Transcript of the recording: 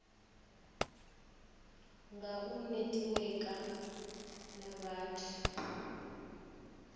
nga u netiweka na vhathu